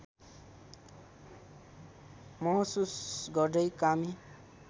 महसुस गर्दै कामी